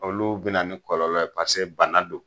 Olu bɛna ni kɔlɔlɔ ye paseke bana don.